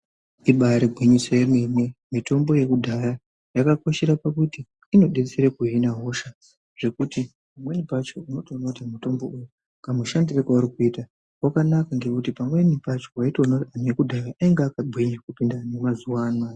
Ibari gwinyiso yemene mitombo yakudhaya yakakoshera pakuti inobetsera pakuhina hosha. Zvekuti pamweni pacho unotoona kuti mutombo uyu kashandire kauri kuita vakanaka nekuti pamweni pacho nekuti vantu vakudhaya vainge vakagwinya, kupinde vamazuva anaya.